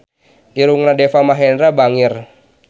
Irungna Deva Mahendra bangir